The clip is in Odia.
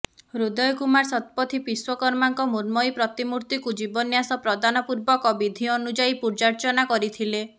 ହୃଦୟ କୁମାର ଶତପଥୀ ବିଶ୍ୱକର୍ମାଙ୍କ ମୃଣ୍ମୟୀ ପ୍ରତିମୂର୍ତିକୁ ଜୀବନ୍ୟାସ ପ୍ରଦାନ ପୂର୍ବକ ବିଧି ଅନୁଯାୟୀ ପୂଜାର୍ଚ୍ଚନା କରିଥିଲେ